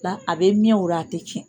La a be mɛn o ra a te cɛn